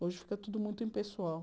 Hoje, fica tudo muito impessoal.